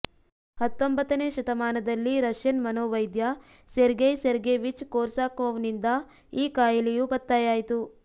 ಹತ್ತೊಂಬತ್ತನೇ ಶತಮಾನದಲ್ಲಿ ರಷ್ಯನ್ ಮನೋವೈದ್ಯ ಸೆರ್ಗೆಯ್ ಸೆರ್ಗೆವಿಚ್ ಕೊರ್ಸಾಕೋವ್ನಿಂದ ಈ ಕಾಯಿಲೆಯು ಪತ್ತೆಯಾಯಿತು